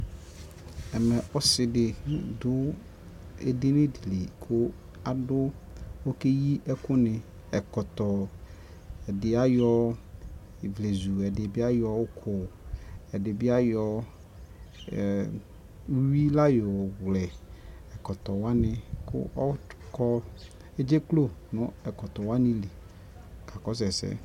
Ɛmɛ ɔsi di ku ɛdini di ku ɔkɛ yi ɛku niƐkɔktɔ, ɛdi ayɔ ivlezu, ɛdi bi ayɔ uku, ɛdi bi ayɔ uyʋi la wlɛ ɛkɔtɔ waniƆkɔ, ɛdze klo nu ɛkɔtɔ wani li kɔka kɔsu ɛsɛ